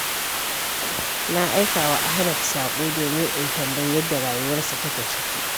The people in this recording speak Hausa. Na aikawa Ahmad saƙo domin in tambayi yadda rayuwarsa take ciki.